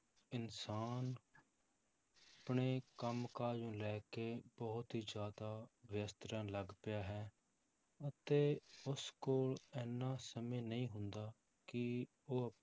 ਇਨਸਾਨ ਆਪਣੇ ਕੰਮ ਕਾਜ ਨੂੰ ਲੈ ਕੇ ਬਹੁਤ ਹੀ ਜ਼ਿਆਦਾ ਵਿਅਸਤ ਰਹਿਣ ਲੱਗ ਪਿਆ ਹੈ, ਅਤੇ ਉਸ ਕੋਲ ਇੰਨਾ ਸਮੇਂ ਨਹੀਂ ਹੁੰਦਾ ਕਿ ਉਹ